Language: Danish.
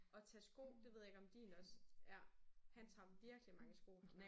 Og tage sko. Det ved jeg ikke om din også ja han tager virkelig mange sko nu her